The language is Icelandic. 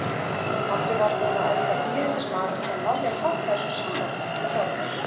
Pabbi var búinn að elda dýrindis mat og Lalli hlakkaði svo sannarlega til að borða.